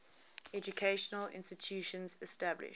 educational institutions established